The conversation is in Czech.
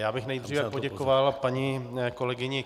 Já bych nejdříve poděkoval paní kolegyni